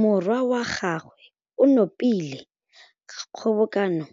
Morwa wa gagwe o nopile kgobokanô